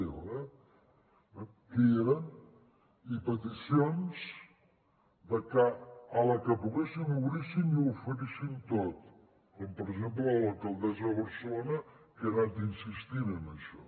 eh que hi eren i peticions de que a la que poguéssim obríssim i ho oferissin tot com per exemple de l’alcaldessa de barcelona que ha anat insistint en això